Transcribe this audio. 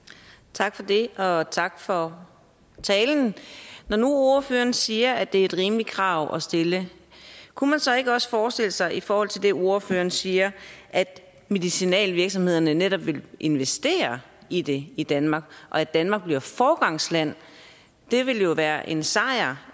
tak for det og tak for talen når nu ordføreren siger at det er et rimeligt krav at stille kunne man så ikke også forestille sig i forhold til det ordføreren siger at medicinalvirksomhederne netop vil investere i det i danmark og at danmark bliver foregangsland det ville jo være en sejr